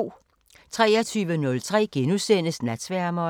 23:03: Natsværmeren *